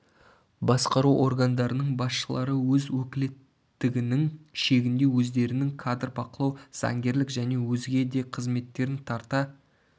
басқару органдарының басшылары өз өкілеттігінің шегінде өздерінің кадр бақылау заңгерлік және өзге де қызметтерін тарта